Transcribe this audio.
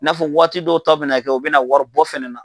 I n'a fɔ waati dɔw ta bina kɛ o bɛna waribɔ fana na.